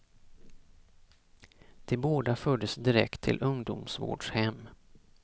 De båda fördes direkt till ungdomsvårdshem.